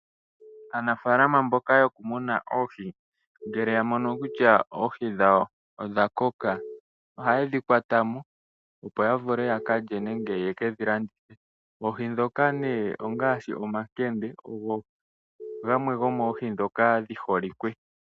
Aanafaalama mboka yoku muna Oohi ngele ya mono kutya Oohi dhawo odha koka oha yedhi kwata mo. Opo ya vule ya kalye nenge ye kedhi landithe. Oohi dhoka nee ongaashi omakende, ogo gamwe go moohi dhoka dhi holike.